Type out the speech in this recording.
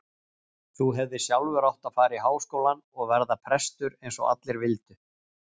Þú hefðir sjálfur átt að fara í Háskólann og verða prestur eins og allir vildu.